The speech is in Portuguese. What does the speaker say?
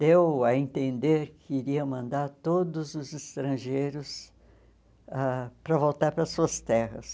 deu a entender que iria mandar todos os estrangeiros ãh para voltar para suas terras.